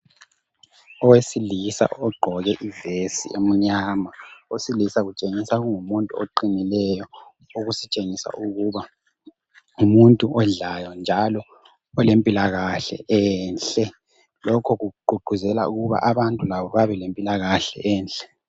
Owesilisa ogqoke ivesi emnyama owesila kutshengisa kungumuntu oqinileyo okusitshengisa ukuba ngumuntu odlayo njalo olempilakahla enhle lokhu kugqugquzela abantu labo babe lempilakahle enhle.